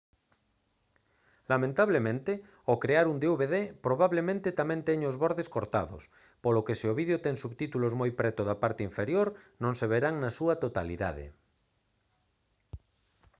lamentablemente ao crear un dvd probablemente tamén teña os bordes cortados polo que se o vídeo ten subtítulos moi preto da parte inferior non se verán na súa totalidade